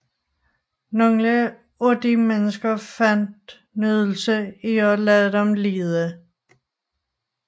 Nogle af de mennesker fandt nydelse i at lade dem lide